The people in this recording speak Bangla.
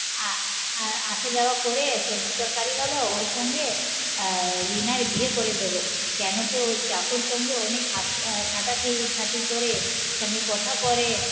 আহ আসা যাওয়া করে সবজি তরকারি বলো ওর সঙ্গে আহ রিনার বিয়ে করে দেবো কেন কি ওর চাকর সঙ্গে অনেক ঝাঁটা টি খাটি করে সঙ্গে কথা করে